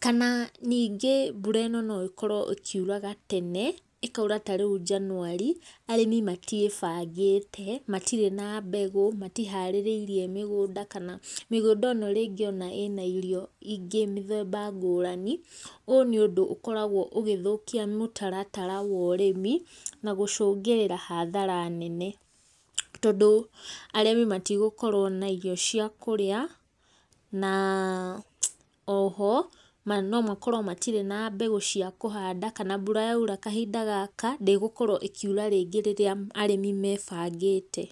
kana ningĩ mbura ĩno no, ĩkorwo ĩkiura gatene, ĩkaura tarĩu njanuari, arĩmi matiĩbangĩte, matirĩ na mbegũ, matiharĩrĩirie mĩgũnda kana mĩgũnda ĩno tarĩngĩ ĩna irio ingĩ, mĩthemba ngũrani, ũũ nĩ ũndũ ũkoragwo ũgĩthũkia mũtaratara wa ũrĩmi, na gũcũngĩrĩra hathara nene. Tondũ arĩmi matigũkorwo na irio cia kũrĩa, na oho, nomakorwo matirĩ na mbegũ cia kũhanda, kana mbura yaura kahinda gaka ndĩgũkorwo ĩkiura rĩngĩ rĩrĩa arĩmi mebangĩte.